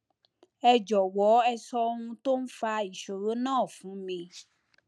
ẹ jọwọ ẹ sọ ohun tó ń fa ìṣòro náà fún mi